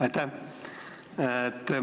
Aitäh!